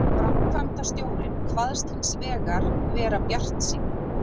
Framkvæmdastjórinn kvaðst hins vegar vera bjartsýnn